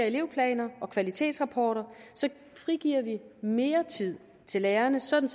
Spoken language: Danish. elevplaner og kvalitetsrapporter frigiver vi mere tid til lærerne sådan